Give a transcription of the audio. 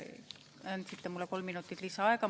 Andsite mulle kolm minutit lisaaega.